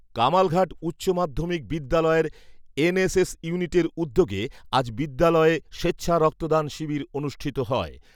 কামালঘাট উচ্চ মাধ্যমিক বিদ্যালয়ের এনএসএস ইউনিটের উদ্যোগের আজ বিদ্যালয়ে স্বেচ্ছা রক্তদান শিবির অনুষ্ঠিত হয়।